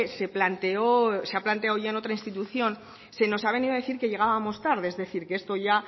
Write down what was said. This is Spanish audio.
se planteó se ha planteado ya en otra institución se nos ha venido a decir que llegábamos tarde es decir que esto ya